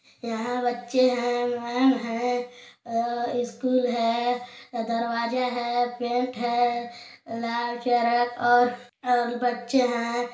यहाँ बच्चे हैं मैंम हैं अ स्कूल है दरवाजा हैं पेंट हैं लाल शर्ट और बच्चे हैं।